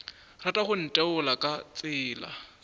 rata go ntheola ka tsela